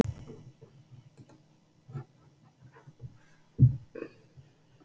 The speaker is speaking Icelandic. Hún var eins og gegnsæ kringla.